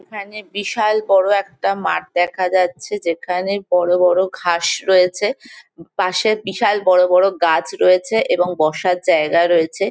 এখানে বিশাল বড় একটা মাঠ দেখা যাচ্ছে যেখানে বড় বড় ঘাস রয়েছে । পাশে বিশাল বড় বড় গাছ রয়েছে এবং বসার জায়গা রয়েছে।